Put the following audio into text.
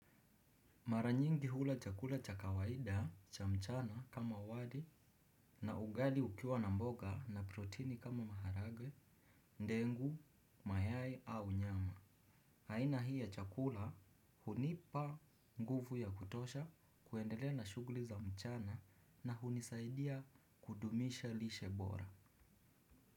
Mara nyingi hula chakula cha kawaida cha mchana kama wali na ugali ukiwa na mboga na proteini kama maharagwe, ndengu, mayai au nyama. Aina hii ya chakula hunipa nguvu ya kutosha kuendelea na shughuli za mchana na hunisaidia kudumisha lishe bora.